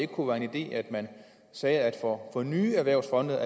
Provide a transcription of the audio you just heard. kunne være en idé at man sagde at for nye erhvervsfonde